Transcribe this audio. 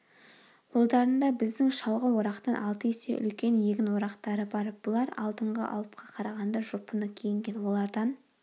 қолдарында біздің шалғы-орақтан алты есе үлкен егін орақтары бар бұлар алдыңғы алыпқа қарағанда жұпыны киінген олардан